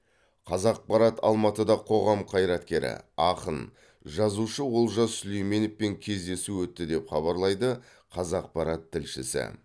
қазақпарат алматыда қоғам қайраткері ақын жазушы олжас сүлейменовпен кездесу өтті деп хабарлайды қазақпарат тілшісі